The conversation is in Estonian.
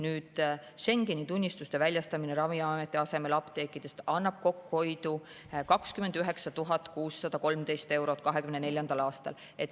Nüüd, Schengeni tunnistuste väljastamine Ravimiameti asemel apteekides annab kokkuhoidu 29 613 eurot 2024. aastal.